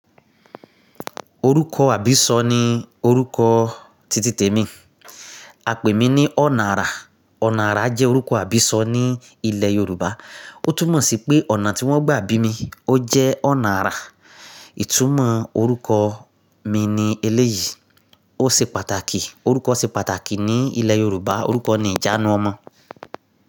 Orúkọ àbísọ ni orúkọ títítẹ mi. A pè mí ní Ọ̀nà ará. Ọ̀nà ará jẹ́ orúkọ àbísọ ní ilẹ̀ Yorùbá. Ó túmọ̀ sí pé ọ̀nà tí wọ́n gbà bí mi, ó jẹ́ ọ̀nà ará. Ìtúmọ̀ orúkọ mi ni eléyìí. Ó ṣe pàtàkì, orúkọ ṣe pàtàkì ní ilẹ̀ Yorùbá. Orúkọ ni ìjánu ọmọ.